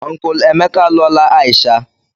Unkulu Emeka alụọla Aisha.